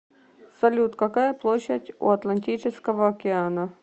салют какая площадь у атлантического окена